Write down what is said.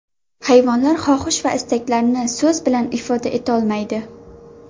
Hayvonlar xohish va istaklarini so‘z bilan ifoda etolmaydi.